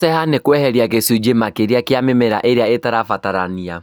Gũceeha nĩ kweheria gĩcunjĩ makĩria kĩa mĩmera ĩrĩa itarabatarania